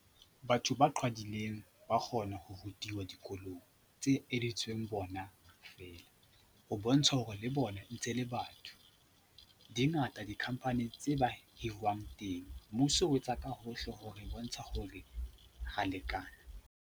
Batho ba qhwadileng ba kgona ho rutiwa dikolong tse etseditsweng bona feela ho bontsha hore le bona ntse le batho. Di ngata di-company tse ba hiriwang teng. Mmuso o etsa ka hohle ho re bontsha hore ra lekana.